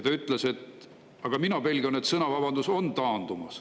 Ta ütles: "Ma pelgan, et sõnavabadus on taandumas.